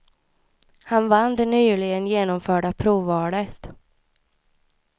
Han vann det nyligen genomförda provvalet.